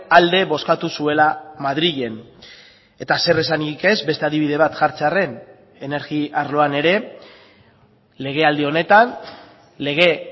alde bozkatu zuela madrilen eta zeresanik ez beste adibide bat jartzearren energi arloan ere legealdi honetan lege